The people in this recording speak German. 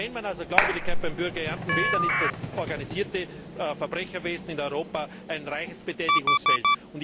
Wenn man also Glaubwürdigkeit beim Bürger ernten will, dann ist das organisierte Verbrecherwesen in Europa ein reiches Betätigungsfeld.